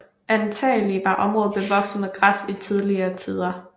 Antagelig var området bevokset med græs i tidligere tider